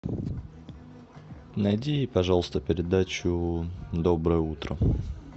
найди пожалуйста передачу доброе утро